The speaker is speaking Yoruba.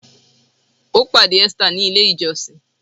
Ó pàdé Esther ní ilè ìjósìn.